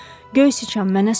Göy siçan, mənə su ver!